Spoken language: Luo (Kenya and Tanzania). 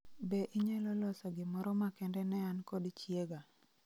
Be inyalo loso gimoro makende ne an kod chiega